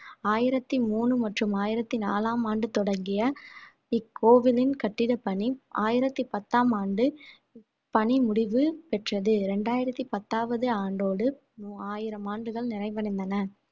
ஆயிரத்தி மூணு மற்றும் ஆயிரத்தி நாலாம் ஆண்டு தொடங்கிய இக்கோவிலின் கட்டிடப் பணி ஆயிரத்தி பத்தாம் ஆண்டு பணிமுடிவு பெற்றது இரண்டாயிரத்தி பத்தாவது ஆண்டோடு ஆயிரம் ஆண்டுகள் நிறைவடைந்தன